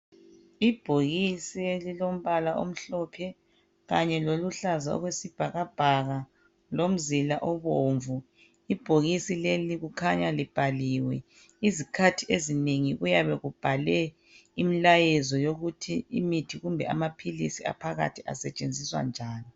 Ibhokisi elilombala omhlophe kanye loluhlaza okwesibhakabhaka lomzila obomvu. Ibhokisi leli likhanya libhaliwe izikhathi ezinengi kuyabe kubhalwe imilayezo yokuthi imithi kumbe amaphilisi the asetshenziswa njani.